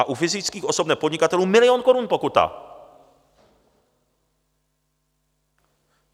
A u fyzických osob nepodnikatelů milion korun pokuta!